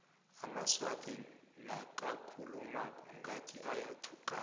amaswati nakakhulumako ngathi ayathukana